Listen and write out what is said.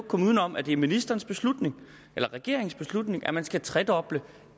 komme uden om at det er ministerens beslutning eller regeringens beslutning at man skal tredoble